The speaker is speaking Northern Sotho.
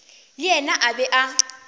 le yena a be a